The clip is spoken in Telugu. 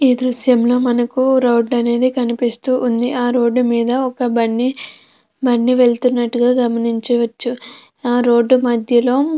ఈ దృశ్యంలో మనకు రోడ్డు అనేది కనిపిస్తూ ఉంది. ఆ రోడ్డు మీద ఒక బండి బండి వెళ్తున్నట్టుగా గమనించవచ్చు ఆ రోడ్డు మధ్యలో--